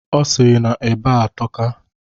Ọ sịrị na eba a atọka